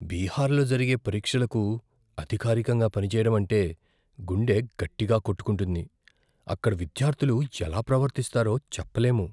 బీహార్లో జరిగే పరీక్షలకు అధికారికంగా పనిచేయడం అంటే గుండె గట్టిగా కొట్టుకుంటుంది. అక్కడ విద్యార్థులు ఎలా ప్రవర్తిస్తారో చెప్పలేము.